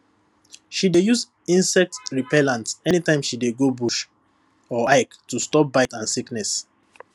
she dey use insect repellent anytime she dey go bush or hike to stop bite and sickness